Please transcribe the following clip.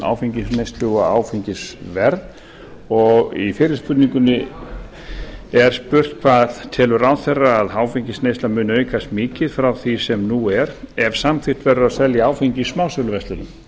áfengisneyslu og áfengisverð í fyrri spurningunni er spurt hvað telur ráðherra að áfengisneysla muni aukast mikið frá því sem nú er ef samþykkt verður að selja áfengi í smásöluverslunum